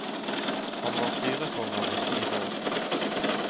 Han var styreformann i syv år.